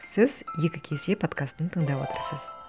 сіз екі кесе подкастын тыңдап отырсыз